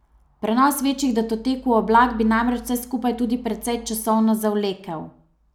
Prenos večjih datotek v oblak bi namreč vse skupaj tudi precej časovno zavlekel.